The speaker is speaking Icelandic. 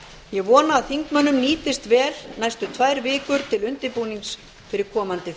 ég vona að þingmönnum nýtist vel næstu tvær vikur til undirbúnings fyrir komandi